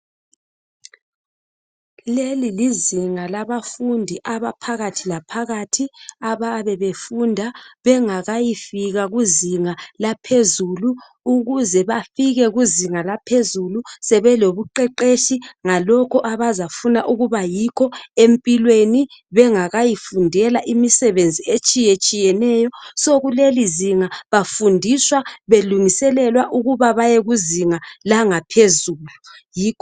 Lelilizinga labafundi abaphakathi la phakathi abayabe befunda bengakayi fika kuzinga laphezulu ukuze bafike kuzinga laphezulu sebelobuqeqetshi ngalokho abazafuna ukuba yikho empilweni bengakayi ofundela imisebenzi etshiye tshiyeneyo ngakho kuleli izinga bafundiswa belungiselelwa ukuba baye kuzinga langaphezulu.